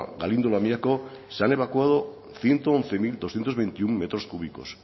galindo lamiako se han evacuado ciento once mil doscientos veintiuno metros cúbicos